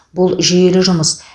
бұл жүйелі жұмыс